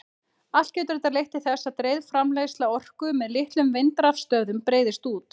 Allt getur þetta leitt til þess að dreifð framleiðsla orku með litlum vindrafstöðvum breiðist út.